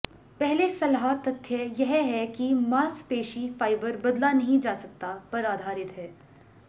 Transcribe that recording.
पहले सलाह तथ्य यह है कि मांसपेशी फाइबर बदला नहीं जा सकता पर आधारित है